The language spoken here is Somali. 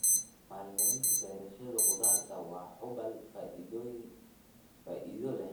Maalgelinta beerashada khudaarta waa hubaal faa'iido leh.